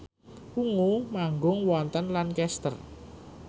Ungu manggung wonten Lancaster